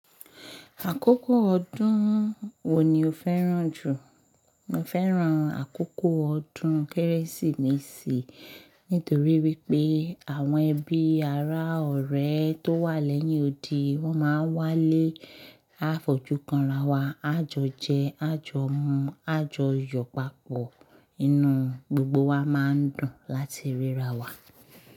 Àkókò ọdún wo ni o fẹ́ràn jù? Mo fẹ́ràn àkókò ọdún Kérésìmesì nítorí wípé àwọn ẹbí ará ọ̀rẹ́ tó wà lẹ́yìn òdì wọ́n máa ń wálé àfojú kanra wa, a jọ jẹ, a jọ mu, a jọ yọ̀ papọ̀, inú gbogbo wa máa ń dùn láti ríra wa.